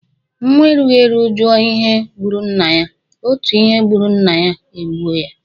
Nwa erughi eru juò ihe gburu nnaya, otu ihe gburu nnaya egbuò ya.